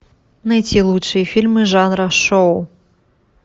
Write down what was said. найти лучшие фильмы жанра шоу